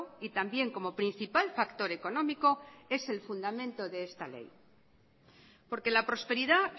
y también como principal factor económico es el fundamento de esta ley porque la prosperidad